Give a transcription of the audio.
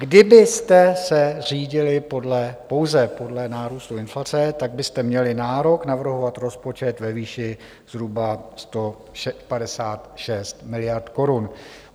Kdybyste se řídili pouze podle nárůstu inflace, tak byste měli nárok navrhovat rozpočet ve výši zhruba 156 miliard korun.